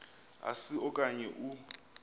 asi okanye u